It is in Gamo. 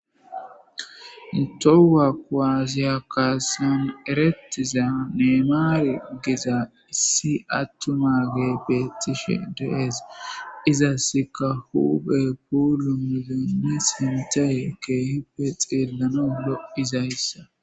Toho kuwasse kassan erretida nemare gizza issi atumagey bettishe de'es izasika huphphe puulunththanne sinththay kehippe xellanawu lo'izayssa.